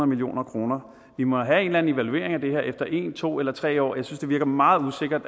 million kroner vi må have en eller anden evaluering af det her efter en to eller tre år jeg synes det virker meget usikkert